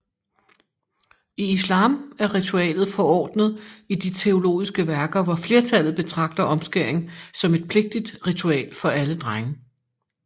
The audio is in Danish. I islam er ritualet forordnet i de teologiske værker hvor flertallet betragter omskæring som et pligtigt ritual for alle drenge